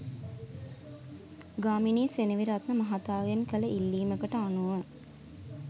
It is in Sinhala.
ගාමිණි සෙනෙවිරත්න මහතාගෙන් කළ ඉල්ලීමකට අනුව